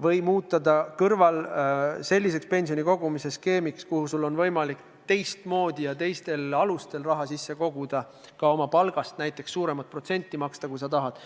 või muuta see selliseks pensionikogumise skeemiks, millesse sul on võimalik teistmoodi ja teistel alustel raha koguda, ka näiteks oma palgast suuremat protsenti maksta, kui sa tahad.